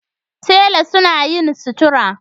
Tela suna yin sutura